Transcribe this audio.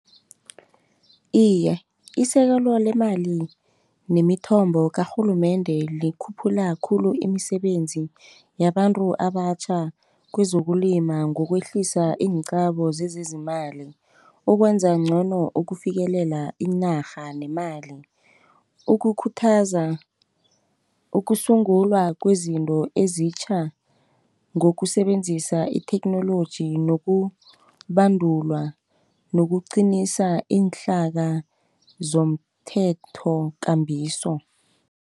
Iye, isekelo lemali nemithombo karhulumende likhuphula khulu imisebenzi yabantu abatjha kwezokulima ngokwehlisa iinqabo zezezimali ukwenza ngcono ukufikelela inarha nemali ukukhuthaza ukusungulwa kwezinto ezitjha ngokusebenzisa itheknoloji nokubandulwa nokuqinisa iinhlaka zomthethokambiso.